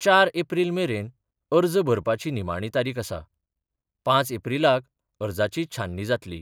चार एप्रील मेरेन अर्ज भरपाची निमाणी तारीख आसा, पांच एप्रीलाक अर्जाची छाननी जातली.